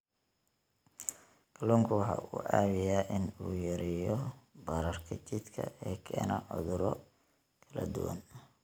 Kalluunku waxa uu caawiyaa in uu yareeyo bararka jidhka ee keena cudurro kala duwan.